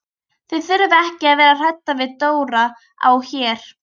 Þið þurfið ekki að vera hrædd við Dóra á Her.